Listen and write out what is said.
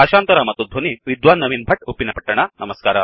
ಭಾಷಾಂತರ ಮತ್ತು ಧ್ವನಿ ವಿದ್ವಾನ್ ನವೀನ್ ಭಟ್ ಉಪ್ಪಿನಪಟ್ಟಣ